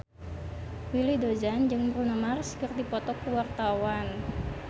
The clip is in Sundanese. Willy Dozan jeung Bruno Mars keur dipoto ku wartawan